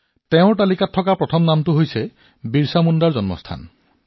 তেওঁৰ তালিকাৰ প্ৰথম নামটো হৈছে ভগৱান বিৰচা মুণ্ডাৰ জন্মস্থান